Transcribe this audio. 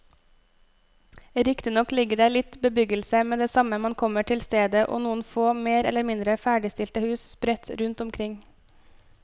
Riktignok ligger det litt bebyggelse med det samme man kommer til stedet og noen få mer eller mindre ferdigstilte hus sprett rundt omkring.